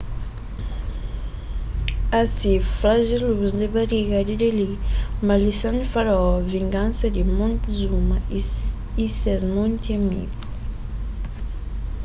asi flajelus di bariga di deli maldison di faraó vingansa di montezuma y ses monti amigu